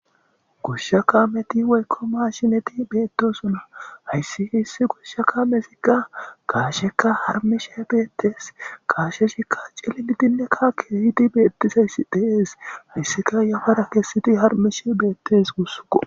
gushshakameti weykko maashineti beettosuna hayssi hissi gushsha ka mesikka gaasheka harmishe beettes gaashe shikka cillidinne kakehiti beettisayssi deees hayssika yafara kesseti harmishe beettes gussuko